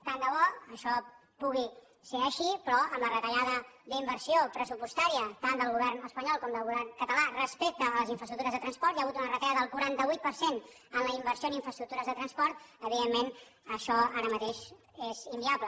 tant de bo això pugui ser així però amb la retallada d’inversió pressupostària tant del govern espanyol com del govern català respecte a les infraestructures de transport hi ha hagut una retallada del quaranta vuit per cent en la inversió en infraestructures de transport evidentment això ara mateix és inviable